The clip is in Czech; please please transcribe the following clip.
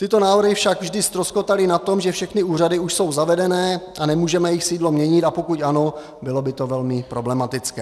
Tyto návrhy však vždy ztroskotaly na tom, že všechny úřady už jsou zavedené a nemůžeme jejich sídlo měnit, a pokud ano, bylo by to velmi problematické.